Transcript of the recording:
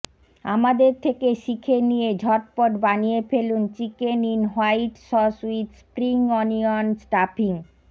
আমাদের থেকে শিখে নিয়ে ঝটপট বানিয়ে ফেলুন chicken in white sauce with spring onion stuffing